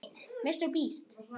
Heima er pláss fyrir alla.